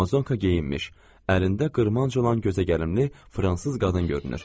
Amazonka geyinmiş, əlində qırmanc olan gözəgəlimli fransız qadın görünür.